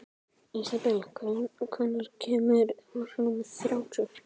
Ísabel, hvenær kemur vagn númer þrjátíu?